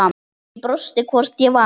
Ég brosti, hvort ég var!